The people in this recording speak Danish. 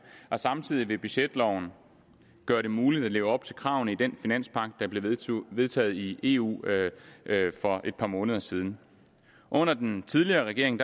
og samtidig vil budgetloven gøre det muligt at leve op til kravene i den finanspagt der blev vedtaget i eu for et par måneder siden under den tidligere regering